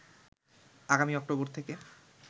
আগামী অক্টোবর থেকে